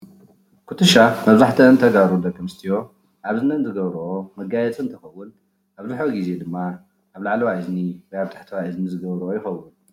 ኩትሻ መብዛሕተአን ተጋሩ ደቂ ኣንስትዮ ኣብ እዝነን ዝገብረኦ መጋየፂ እንትኸውን ኣብዝሕዚ ግዜ ድማ ኣብ ላዕለዋይ እዝኒ ወይ ኣብ ታሕተዋይ እዝኒ ዝገብረኦ ይኸውን።